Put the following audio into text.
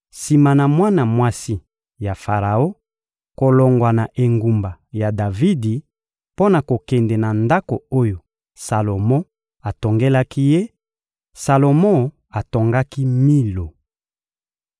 Sima na mwana mwasi ya Faraon kolongwa na engumba ya Davidi mpo na kokende na ndako oyo Salomo atongelaki ye, Salomo atongaki Milo.